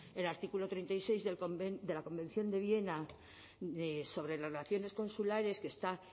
el artículo treinta y seis de la convención de viena sobre las relaciones consulares que está